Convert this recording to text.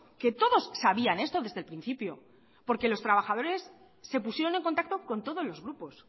que todos sabían esto desde el principio porque los trabajadores se pusieron en contacto con todos los grupos